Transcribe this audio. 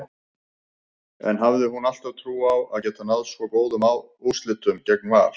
En hafði hún alltaf trú á að geta náð svo góðum úrslitum gegn Val?